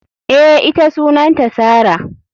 Eh, ita Sunanta Sarah.